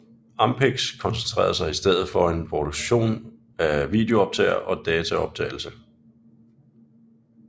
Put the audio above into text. Ampex koncentrerede sig i stedet for om produktion af videooptagere og dataoptagelse